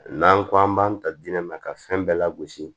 N'an ko an b'an ta dinɛ ka fɛn bɛɛ lagosi